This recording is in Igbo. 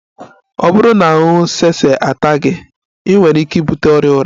Ọ bụrụ na ahụhụ elu sese ata gị, ị nwere ike ibute ọrịa ụra